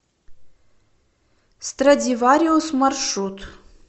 страдивариус маршрут